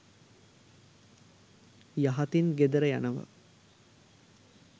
යහතින් ගෙදර යනවා.